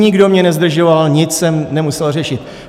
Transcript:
Nikdo mě nezdržoval, nic jsem nemusel řešit.